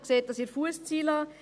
sie sehen dies in der Fusszeile.